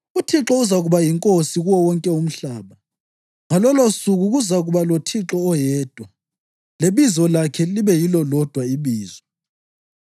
UThixo uzakuba yinkosi kuwo wonke umhlaba. Ngalolosuku kuzakuba loThixo oyedwa, lebizo lakhe libe yilo lodwa ibizo.